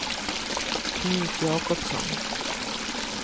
Knut Jacobsson